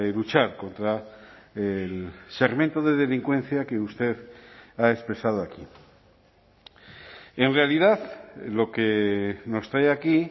luchar contra el segmento de delincuencia que usted ha expresado aquí en realidad lo que nos trae aquí